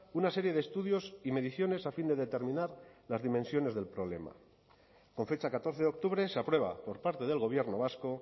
una serie de estudios y mediciones a fin de determinar las dimensiones del problema con fecha catorce de octubre se aprueba por parte del gobierno vasco